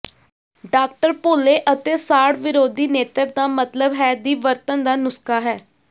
doctor ਪੋਲੇ ਅਤੇ ਸਾੜ ਵਿਰੋਧੀ ਨੇਤਰ ਦਾ ਮਤਲਬ ਹੈ ਦੀ ਵਰਤਣ ਦਾ ਨੁਸਖ਼ਾ ਹੈ